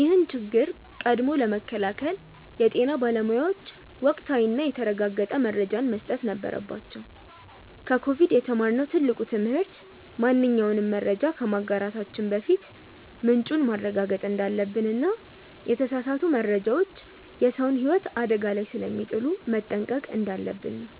ይህን ችግር ቀድሞ ለመከላከል የጤና ባለሙያዎች ወቅታዊና የተረጋገጠ መረጃን መስጠት ነበረባቸው። ከኮቪድ የተማርነው ትልቁ ትምህርት ማንኛውንም መረጃ ከማጋራታችን በፊት ምንጩን ማረጋገጥ እንዳለብንና የተሳሳቱ መረጃዎች የሰውን ህይወት አደጋ ላይ ስለሚጥሉ መጠንቀቅ እንዳለብን ነው።